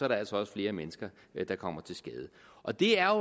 altså også flere mennesker der kommer til skade og det er